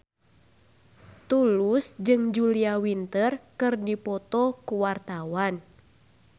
Tulus jeung Julia Winter keur dipoto ku wartawan